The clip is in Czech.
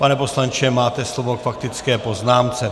Pane poslanče, máte slovo k faktické poznámce.